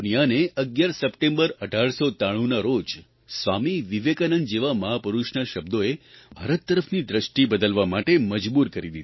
તે દુનિયાને 11 સપ્ટેમ્બર 1893ના રોજ સ્વામી વિવેકાનંદ જેવા મહાપુરૂષના શબ્દોએ ભારત તરફની દૃષ્ટિ બદલવા માટે મજબૂર કરી દીધી